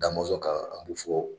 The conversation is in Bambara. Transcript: Damɔzɔn ka a bɛ fɔ